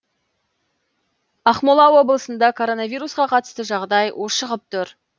ақмола облысында коронавируска қатысты жағдай ушығып тұр